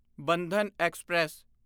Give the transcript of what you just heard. Bandhan express